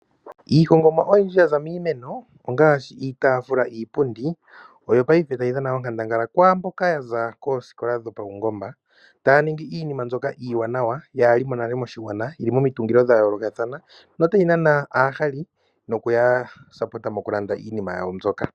Iihongomwa oyindji yaza miimeno ongaashi iitaafula, iipundi oyo ngaashingeyi tayi dhana onkandangala kwaamboka yaza koosikola dhopaungomba. Taya ningi iinima mbyoka iiwanawa kaayi mo nale moshigwana, yili momitungilo dhayoolokathana notayi nana aahali, noku ya kwathele mokulanda iinima yawo mbyoka.